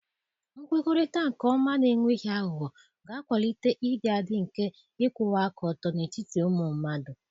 Nkwukọrịta nke ọma na enweghị aghụghọ ga-akwalite ịdị adị nke ịkwụwa aka ọtọ n'etiti ụmụ mmadụ.